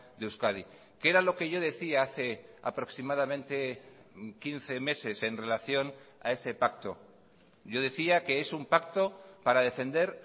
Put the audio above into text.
de euskadi que era lo que yo decía hace aproximadamente quince meses en relación a ese pacto yo decía que es un pacto para defender